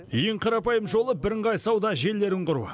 ең қарапайым жолы бірыңғай сауда желілерін құру